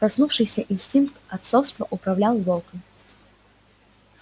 проснувшийся инстинкт отцовства управлял волком